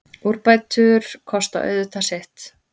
Úrbætur kosta auðvitað sitt.